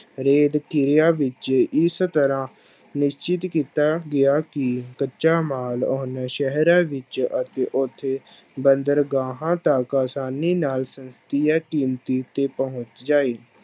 ਵਿੱਚ ਇਸ ਤਰ੍ਹਾਂ ਨਿਸ਼ਚਿਤ ਕੀਤਾ ਗਿਆ ਕਿ ਕੱਚਾ ਮਾਲ ਉਹਨੇ ਸ਼ਹਿਰਾਂ ਵਿੱਚ ਅਤੇ ਉੱਥੇ ਬੰਦਰਗਾਹਾਂ ਤੱਕ ਆਸਾਨੀ ਨਾਲ ਤੇ ਪਹੁੰਚ ਜਾਏ।